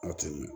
Aw tɛ ɲɛ